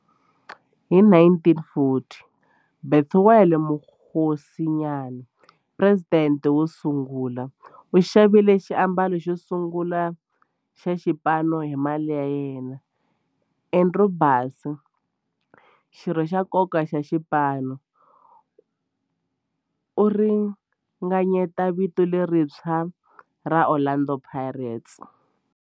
Hi 1940, Bethuel Mokgosinyane, president wosungula, u xavile xiambalo xosungula xa xipano hi mali ya yena. Andrew Bassie, xirho xa nkoka xa xipano, u ringanyete vito lerintshwa ra 'Orlando Pirates'.